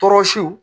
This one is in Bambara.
Tɔɔrɔsiw